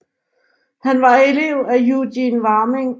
Han var elev af Eugen Warming